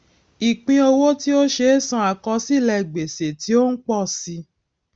ìpínowó tí ó ṣeé san àkọsílẹ gbèsè tí ó ń pò si